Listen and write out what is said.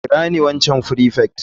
Kira ni waccan prefect.